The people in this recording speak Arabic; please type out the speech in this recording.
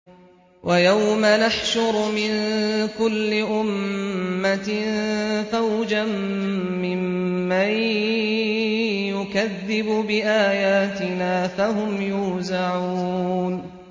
وَيَوْمَ نَحْشُرُ مِن كُلِّ أُمَّةٍ فَوْجًا مِّمَّن يُكَذِّبُ بِآيَاتِنَا فَهُمْ يُوزَعُونَ